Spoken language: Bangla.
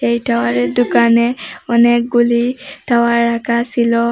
এই টাওয়ারের ডুকানে অনেকগুলি টাওয়ার রাখা সিলো।